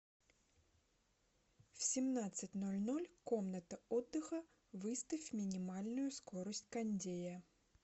в семнадцать ноль ноль комната отдыха выставь минимальную скорость кондея